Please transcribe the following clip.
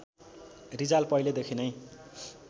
रिजाल पहिलेदेखि नै